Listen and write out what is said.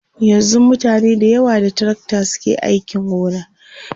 yanzun mutane da yawa da tracta suke ainki gona